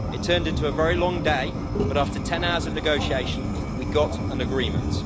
It turned into a very long day, but after ten hours of negotiation we got an agreement.